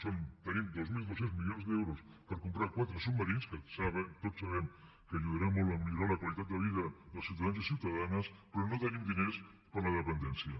són tenim dos mil dos cents d’euros per comprar quatre submarins que tots sabem que ajudaran molt a millorar la qualitat de vida dels ciutadans i ciutadanes però no tenim diners per a la dependència